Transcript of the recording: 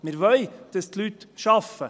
Wir wollen, dass die Leute arbeiten.